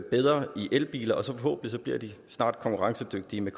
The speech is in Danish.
bedre ved elbiler og forhåbentlig bliver de snart konkurrencedygtige i